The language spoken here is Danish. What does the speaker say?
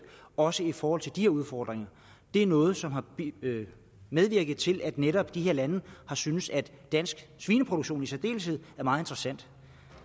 også i forhold til de udfordringer det er noget som har medvirket til at netop de her lande har syntes at dansk svineproduktion i særdeleshed er meget interessant